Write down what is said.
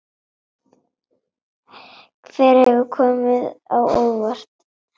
Hver hefur komið á óvart?